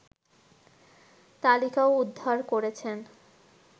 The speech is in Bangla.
তালিকাও উদ্ধার করেছেন